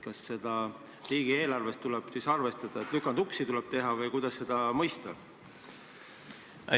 Kas riigieelarves on vaja arvestada sellega, et tuleb teha lükanduksi, või kuidas seda mõista?